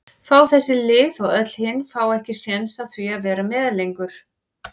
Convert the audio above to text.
fá þessi lið og öll hin fá ekki séns á því að vera með lengur?